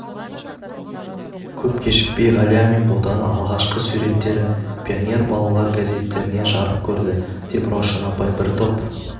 көп кешікпей ғалия мен ботаны алғашқы суреттері пионер балалар газеттерінде жарық көрді деп раушан апай бір топ